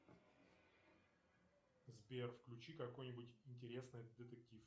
сбер включи какой нибудь интересный детектив